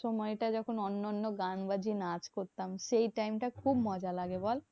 সময়টা যখন অন্য অন্য গান বা যে নাচ করতাম সেই time টা খুব মজা লাগে বল?